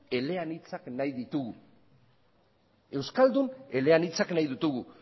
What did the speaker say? eleanitzak nahi ditugu